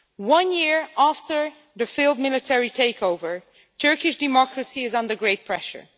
One year after the failed military takeover, Turkish democracy is under great pressure.